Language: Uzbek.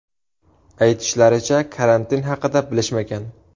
Aytishlaricha, karantin haqida bilishmagan.